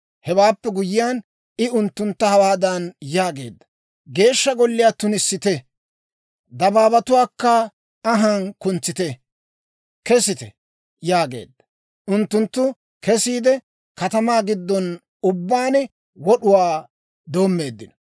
Hewaappe guyyiyaan, I unttuntta hawaadan yaageedda; «Geeshsha Golliyaa tunissite; dabaabatuwaakka anhaan kuntsite; kesite» yaageedda. Unttunttu kesiide, katamaa giddon ubbaan wod'uwaa doommeeddino.